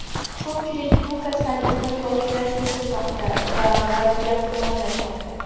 Ko‘pchilik bu kasallikni boshidan kechirmoqda va vaziyat yomonlashmoqda.